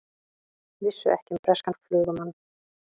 Vissu ekki um breskan flugumann